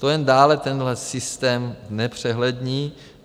To jen dále tenhle systém znepřehlední.